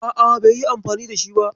A'a, bai yi anfani da shi ba.